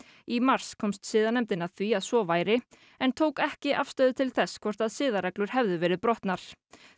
í mars komst siðanefndin að því að svo væri en tók ekki afstöðu til þess hvort siðareglur hefðu verið brotnar